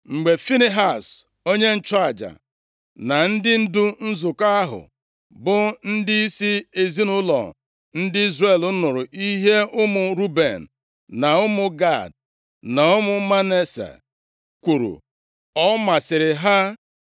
Mgbe Finehaz onye nchụaja, na ndị ndu nzukọ ahụ, bụ ndịisi ezinaụlọ ndị Izrel nụrụ ihe ụmụ Ruben, na ụmụ Gad, na ụmụ Manase kwuru, ọ masịrị ha.